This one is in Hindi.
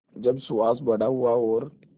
जब सुहास बड़ा हुआ और